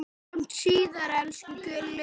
Sjáumst síðar, elsku Gulli.